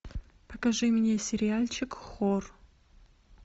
покажи мне сериальчик хор